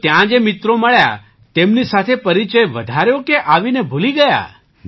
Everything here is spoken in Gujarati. તો ત્યાં જે મિત્રો મળ્યા તેમની સાથે પરિચય વધાર્યો કે આવીને ભૂલી ગયા